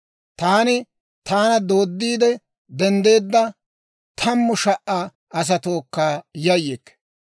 Taani taana dooddiide denddeedda, tammu sha"aa asatookka yayyikke.